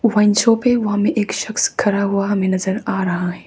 Wine shop है। वहां में एक शख्स खड़ा हुआ हमें नजर आ रहा है।